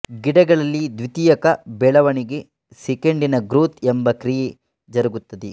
ಗಿಡಗಳಲ್ಲಿ ದ್ವಿತೀಯಕ ಬೆಳವಣಿಗೆ ಸೆಕೆಂಡರಿ ಗ್ರೋತ್ ಎಂಬ ಕ್ರಿಯೆ ಜರುಗುತ್ತದೆ